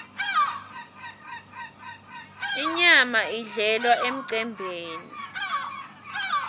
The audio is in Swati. inyama idlelwa emcembeni